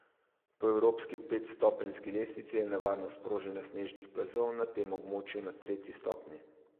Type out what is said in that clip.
Po evropski petstopenjski lestvici je nevarnost proženja snežnih plazov na tem območju na tretji stopnji.